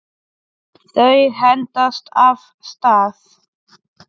Þau hendast af stað.